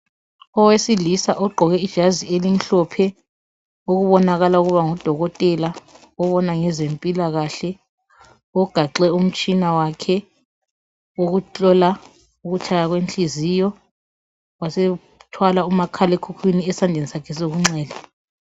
Owesilisa ogqoke ijazi elimhlophe okubonakala ukuba ngudokotela obona ngezempilakahle ugaxe umtshina wakhe wokuhlola ukutshaya kwenhliziyo wasethwala umakhalekhukhwini esandleni sakhe sokunxele.